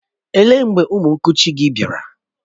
Ó lee mgbe ụmụ nkuchi gị bịara?